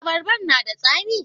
Abarban na da tsami?